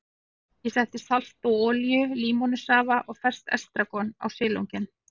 Ég setti salt og olíu, límónusafa og ferskt estragon á silunginn.